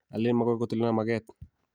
alen magoi kotilena mage'et